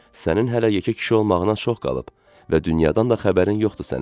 Sənin hələ yekə kişi olmağına çox qalıb və dünyadan da xəbərin yoxdur sənin.